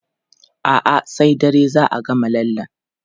A'a, sai dare za a gama lallen.